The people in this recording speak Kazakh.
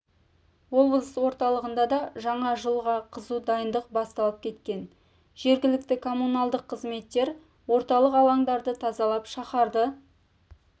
облыс орталығында да жаңа жылға қызу дайындық басталып кеткен жергілікті коммуналдық қызметтер орталық алаңдарды тазалап шаһарды